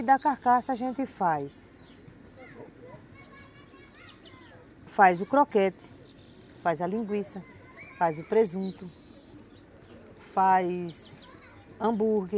E da carcaça, a gente faz... faz o croquete, faz a linguiça, faz o presunto, faz hambúrguer,